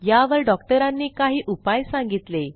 यावर डॉक्टरांनी काही उपाय सांगितले